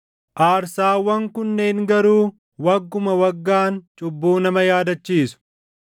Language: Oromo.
Aarsaawwan kunneen garuu wagguma waggaan cubbuu nama yaadachiisu.